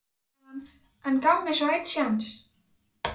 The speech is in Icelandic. sagði hann, en gaf mér svo einn séns.